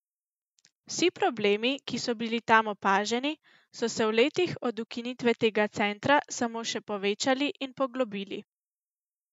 Vsi problemi, ki so bili tam opaženi, so se v letih od ukinitve tega centra samo še povečali in poglobili.